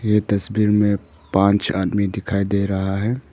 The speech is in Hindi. ये तस्वीर में पांच आदमी दिखाई दे रहा है।